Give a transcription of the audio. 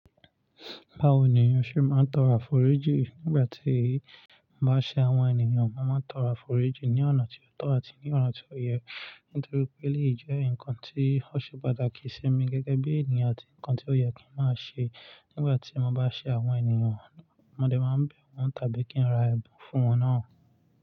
Báwo ni ó ṣe máa ń tọrọ àforíjì nígbà tí mo bá ṣe àwọn ènìyàn? Mo máa ń tọrọ àforíjì ní ọ̀nà tí ó tọ́ àti ní ọ̀nà tí ó yẹ, nítorí pé elèyí jẹ́ nǹkan tí ó ṣe pàtàkì sí mi gẹ́gẹ́ bí ènìyàn àti ǹkan tí ó yẹ kí n máa ṣe nígbà tí mo bá ṣe àwọn ènìyàn. Mọdé máa ń bẹ̀ wọ́n tàbí kí n ra ẹ̀bùn fún wọn náà.